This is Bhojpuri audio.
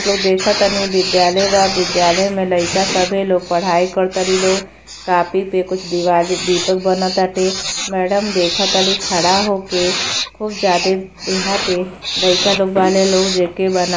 लोग देखतानी विद्यालय बा विद्यालय में लइका सभे लोगिन पढ़ाई करताड़ी। लोग कॉपी प कुछ दिवाली दीपक बनताटे। मैडम देखताड़ी खड़ा होक खूब ज्यादे। यहाँ पे लइका लोग बाने लोग जेके ---